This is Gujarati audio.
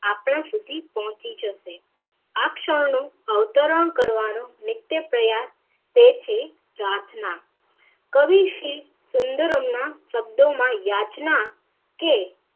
આપણા સુધી પોંહચી જશે આ ક્ષણ નું અવતરણ કરવાનું નિત્ય પ્રયાશ તે છે પ્રાર્થના કવિ શ્રી સુન્દરમ ના શબ્દો માં યાચના કે